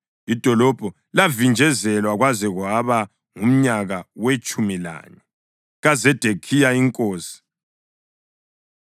Idolobho lavinjezelwa kwaze kwaba ngumnyaka wetshumi lanye kaZedekhiya inkosi.